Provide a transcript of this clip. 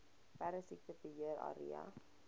perdesiekte beheer area